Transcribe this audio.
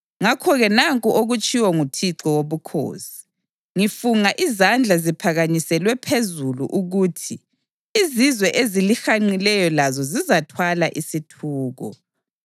Ngakho-ke nanku okutshiwo nguThixo Wobukhosi: Ngifunga izandla ziphakanyiselwe phezulu ukuthi izizwe ezilihanqileyo lazo zizathwala isithuko.